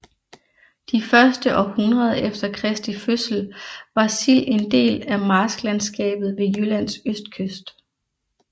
De første århundreder efter Kristi fødsel var Sild en del af marsklandskabet ved Jyllands østkyst